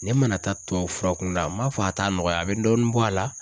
Ne mana taa tubabu fura kunda a m'a fɔ a t'a nɔgɔya a bɛ dɔɔnin bɔ a la.